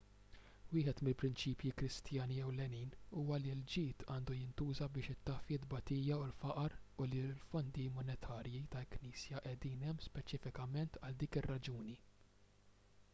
wieħed mill-prinċipji kristjani ewlenin huwa li l-ġid għandu jintuża biex itaffi t-tbatija u l-faqar u li l-fondi monetarji tal-knisja qegħdin hemm speċifikament għal dik ir-raġuni